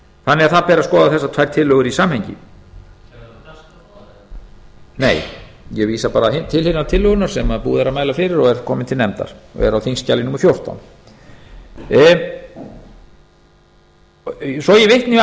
þannig að það ber að skoða þessar tvær tillögur í samhengi nei ég vísa bara á hina tillöguna sem er búið að mæla fyrir og er komin til nefndar og er á þingskjali númer fjórtán svo ég vitni